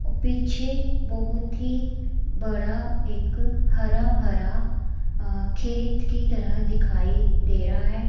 पीछे एक बहोत ही बड़ा एक हरा भरा खेत की तरह दिखाई दे रहा है।